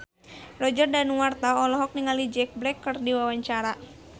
Roger Danuarta olohok ningali Jack Black keur diwawancara